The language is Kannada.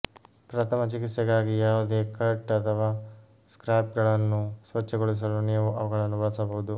ಪ್ರಥಮ ಚಿಕಿತ್ಸೆಗಾಗಿ ಯಾವುದೇ ಕಟ್ ಅಥವಾ ಸ್ಕ್ರ್ಯಾಪ್ಗಳನ್ನು ಸ್ವಚ್ಛಗೊಳಿಸಲು ನೀವು ಅವುಗಳನ್ನು ಬಳಸಬಹುದು